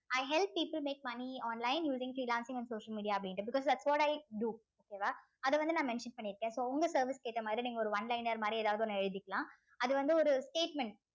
i help people make money online using freelancing and social media அப்படின்னு because thats what i do okay வா அத வந்து நான் mention பண்ணிருக்கேன் so உங்க service க்கு ஏத்த மாதிரி நீங்க ஒரு one liner மாதிரி ஏதாவது ஒண்ணு எழுதிக்கலாம் அது வந்து ஒரு statement